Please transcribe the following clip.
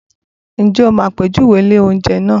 Ǹjẹ́ o mọ àpèjúwe ilé-oúnjẹ náà?